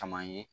Caman ye